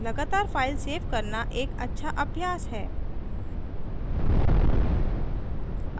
लगातार file save करना एक अच्छा अभ्यास है